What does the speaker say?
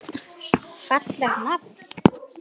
Fallegt nafn.